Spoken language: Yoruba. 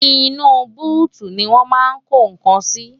inú búùtù ni wọ́n máa ń ko nǹkan sí